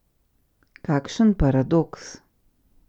Kakšen paradoks!